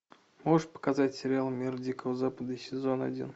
можешь показать сериал мир дикого запада сезон один